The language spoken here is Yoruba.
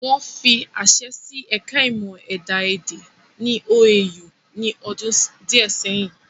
Wọ́n fi àṣẹ sí ẹ̀ka ìmọ̀ ẹ̀dá-èdè ní OAU ní ọdún díẹ̀ ẹyìn